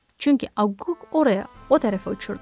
Çünki Akuk oraya, o tərəfə uçurdu.